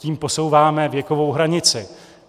Tím posouváme věkovou hranici.